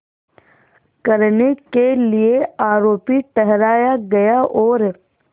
करने के लिए आरोपी ठहराया गया और